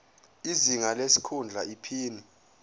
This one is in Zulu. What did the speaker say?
izinga lesikhundla iphini